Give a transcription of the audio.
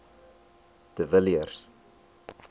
de villiers